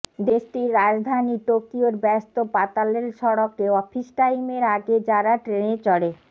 দেশটির রাজধানী টোকিওর ব্যস্ত পাতালরেল সড়কে অফিস টাইমের আগে যাঁরা ট্রেনে চড়ে